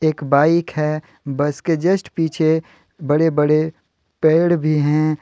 एक बाइक है बस के जस्ट पीछे बड़े बड़े पेड़ भी है।